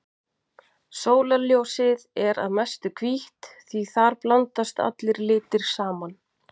Sólarljósið er að mestu hvítt því þar blandast allir litir saman.